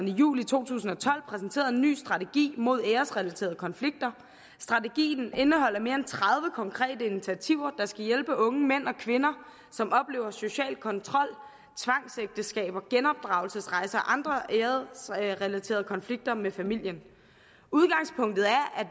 i juli to tusind og tolv præsenterede en ny strategi mod æresrelaterede konflikter strategien indeholder mere end tredive konkrete initiativer der skal hjælpe unge mænd og kvinder som oplever social kontrol tvangsægteskaber genopdragelsesrejser og andre æresrelaterede konflikter med familien udgangspunktet er at